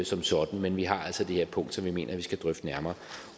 som sådan men vi har altså det her punkt som vi mener vi skal drøfte nærmere